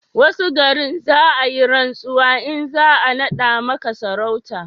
wasu garin, za a yi rantsuwa in za a nada maka sarauta